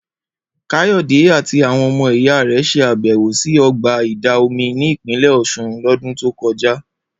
Kayode àti àwọn ọmọ ìyá rẹ̀ ṣe àbẹ̀wò sí ọgbà ìdà omi ní Ìpínlẹ̀ Ọ̀sun lọ́dún tó kọjá